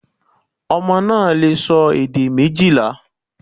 Ọmọ náà lè sọ èdè méjìlá